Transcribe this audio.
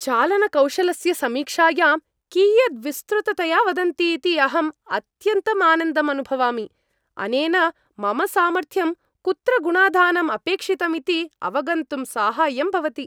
चालनकौशलस्य समीक्षायां कियद् विस्तृततया वदन्ति इति अहम् अत्यन्तं आनन्दम् अनुभवामि। अनेन मम सामर्थ्यं, कुत्र गुणाधानं अपेक्षितमिति अवगन्तुं साहाय्यं भवति।